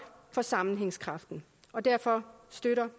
for sammenhængskraften og derfor støtter